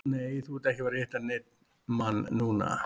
Nei, þú ert ekki að fara að hitta neinn mann núna.